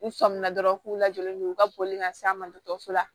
U sɔminna dɔrɔn k'u lajɔlen don u ka boli ka se a ma dɔgɔtɔrɔso la